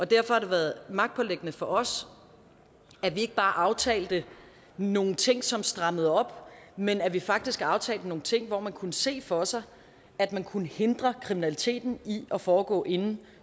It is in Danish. derfor har det været magtpåliggende for os at vi ikke bare aftalte nogle ting som strammede op men at vi faktisk aftalte nogle ting hvor man kunne se for sig at man kunne hindre kriminaliteten i at foregå inde